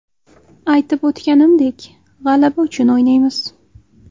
Aytib o‘tganimdek, g‘alaba uchun o‘ynaymiz.